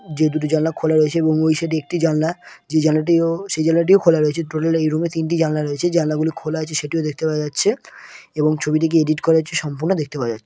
যে দুটি জানলা খোলা রয়েছে এবং সেটি একটি জানলা যে জানলাটিও সে জানলাটিও খোলা রয়েছে টোটালি এই রুম -এ তিনটি জানলা রয়েছে জানলা গুলি খোলা আছে সেটা দেখতে পাওয়া যাচ্ছে এবং ছবিটিকে এডিট করেছে সেটিও সম্পূর্ণ দেখতে পাওয়া যাচ্ছে ।